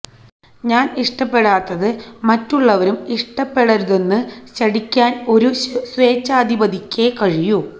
ഞാന് ഇഷ്ടപ്പെടാത്തത് മറ്റുള്ളവരും ഇഷ്ടപ്പെടരുതെന്ന് ശഠിക്കാന് ഒരു സ്വേച്ഛാധിപതിക്കേ കഴിയൂ